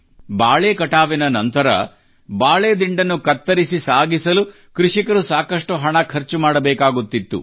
ಬಾಳೆ ಕೃಷಿ ನಂತರ ಬಾಳೆ ದಿಂಡನ್ನು ಕತ್ತರಿಸಿ ಸಾಗಿಸಲು ಕೃಷಿಕರು ಸಾಕಷ್ಟು ಹಣ ಖರ್ಚು ಮಾಡಬೇಕಾಗುತ್ತಿತ್ತು